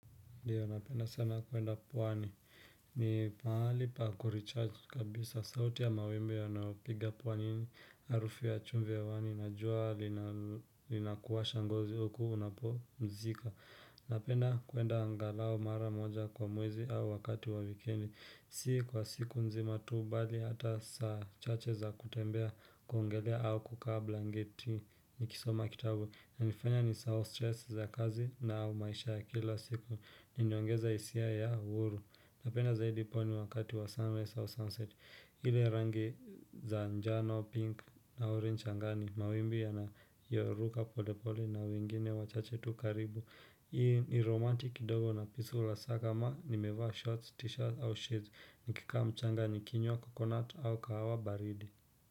Dio, napenda sana kuenda puwani. Ni mahali pa kurichaj kabisa. Sauti ya mawimbi ya naopiga pwani ini. Arufi ya chumve ya wani. Najua linakuwa shangazo huku unapo mzika. Napenda kuenda angalao mara moja kwa muwezi au wakati wa wikendi. Sikwa siku nzima tuu bali hata saa chache za kutembea kongelea au kukablangeti. Nikisoma kitabu na nifanya nisahau stress za kazi na maisha ya kila siku Ninyongeza isia ya uuru Napenda zaidi pwani wakati wa sunrise au sunset ile rangi za njano pink na orange angani Mawimbi ya na yoruka polepole na wengine wachache tu karibu Hii ni romanti kidogo na pisu ulasaka ma Nimevaa shorts, t-shirt au shoes Nikika mchanga ni kinyo wa coconut au kawa baridi.